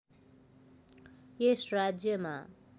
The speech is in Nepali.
यस राज्यमा